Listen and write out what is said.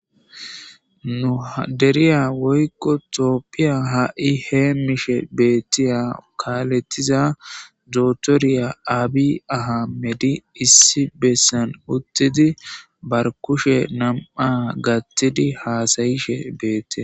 nuhderiya woykko tooppiya ha7i heemmishe beettiya kaalettiza dootoriya aabi ahamedi issi bessan uttidi bar kushe nam7a gattidi haasayishe beette